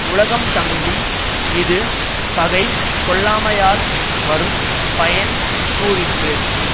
உலகம் தங்கும் இது பகை கொள்ளாமையால் வரும் பயன் கூறிற்று